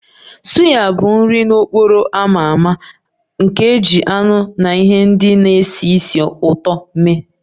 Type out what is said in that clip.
Suya bụ nri n'okporo ámá a ma ama nke e ji anụ na ihe ndị na-esi ísì ụtọ mee